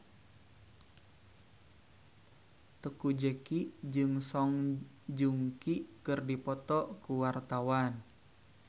Teuku Zacky jeung Song Joong Ki keur dipoto ku wartawan